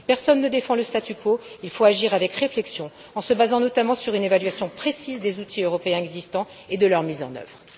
Si personne ne défend le statu quo, il faut agir avec réflexion en se basant notamment sur une évaluation précise des outils européens existants et de leur mise en œuvre.